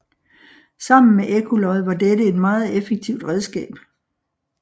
Sammen med ekkolod var dette et meget effektivt redskab